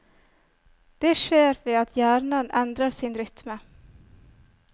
Det skjer ved at hjernen endrer sin rytme.